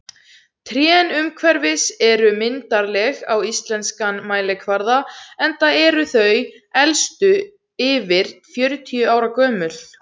Trén umhverfis eru myndarleg á íslenskan mælikvarða, enda eru þau elstu yfir fjörutíu ára gömul.